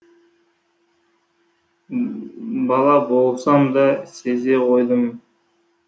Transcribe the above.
бала болсам да сезе қойдым